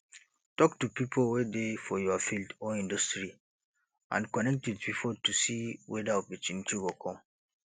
talk to pipo wey dey for your field or industry and connect with pipo to see weda opportunity go come